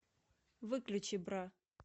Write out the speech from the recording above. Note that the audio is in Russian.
выключи бра